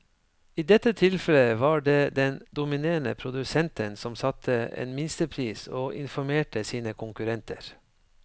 I dette tilfellet var det den dominerende produsenten som satte en minstepris og informerte sine konkurrenter.